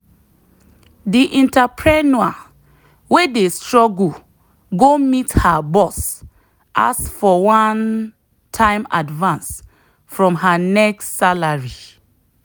the entrepreneur wey dey struggle go meet her boss ask for one-time advance from her next salary.